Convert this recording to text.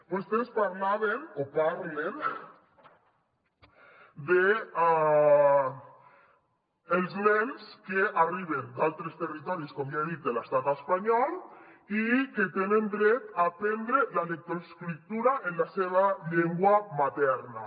vostès parlaven o parlen dels nens que arriben d’altres territoris com ja he dit de l’estat espanyol i que tenen dret a aprendre la lectoescriptura en la seva llengua materna